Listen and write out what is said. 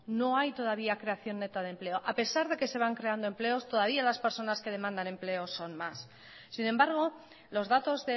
no hay todavía creación neta de empleo a pesar de que se van creado empleos todavía las personas que demandan empleo son más sin embargo los datos